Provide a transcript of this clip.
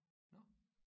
Nåh